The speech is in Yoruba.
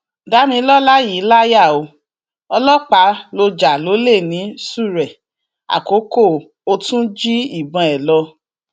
damilọla yìí láyà o ọlọpàá ló já lólè ní ṣúrẹ àkókò ò tún jí ìbọn ẹ lọ